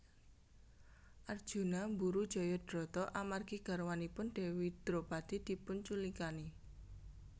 Arjuna mburu Jayadrata amargi garwanipun Dewi Dropadi dipunculikani